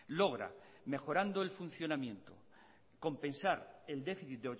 logra mejorando el funcionamiento compensar el déficit